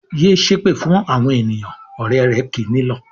"Yé ṣépè fún àwọn ènìyàn!" Ọ̀rẹ́ rẹ̀ kì í nílọ̀.